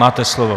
Máte slovo.